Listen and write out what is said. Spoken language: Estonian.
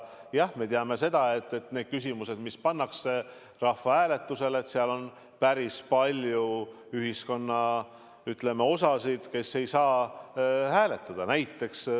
Jah, me teame, et kui küsimus pannakse rahvahääletusele, siis on päris palju ühiskonna osi, kes ei saa hääletada.